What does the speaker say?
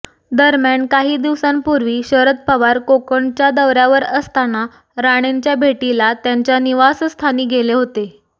दरम्यान काही दिवसांपूर्वी शरद पवार कोकणच्या दौऱ्यावर असताना राणेंच्या भेटीला त्यांच्या निवासस्थानी गेले होते